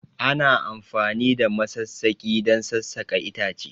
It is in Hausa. Ana amfani da masassaki don sassaƙa itace